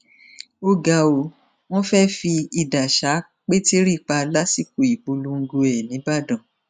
ó ga ó wọn fẹẹ fi idà ṣá pétérì pa lásìkò ìpolongo ẹ nìbàdàn